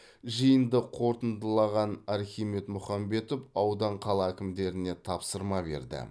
жиынды қорытындылаған архимед мұхамбетов аудан қала әкімдеріне тапсырма берді